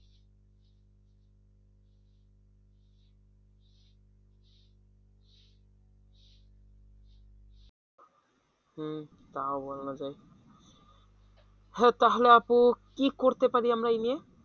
হম তাও বলা যায় হ তাহলে আপু কি করতে পারি আমরা এই নিয়ে?